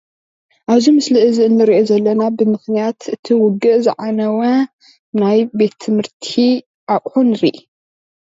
አብዚ ምስሊ እዚ እንሪኦ ዘለና በምክንያት እቲ ውግእ ዘዓነወ ናይ ቤት ትምህርቲ አቁሑ ንሪኢ።